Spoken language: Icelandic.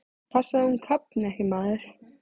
Passaðu að hún kafni ekki, maður!